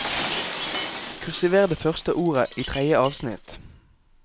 Kursiver det første ordet i tredje avsnitt